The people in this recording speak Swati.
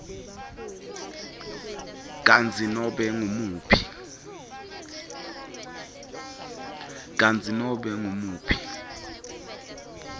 kutsi nobe ngumuphi